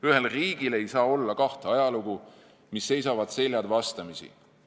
Ühel riigil ei saa olla kahte ajalugu, mis seisavad seljad vastamisi.